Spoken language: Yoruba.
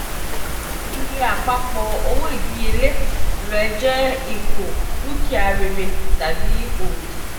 iye apapọ owo idiyele re jẹ ipo dukia rere tabi odi.